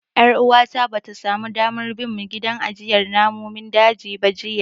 Ƴar uwata bata samu damar bin mu gidan ajiyar namun dajin ba jiya.